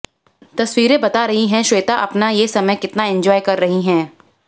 तस्वीरें बता रही हैं श्वेता अपना ये समय कितना एंजॉय कर रही हैं